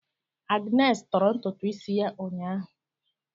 Agnes tọọrọ ntutu isi ya ụnyaahụ.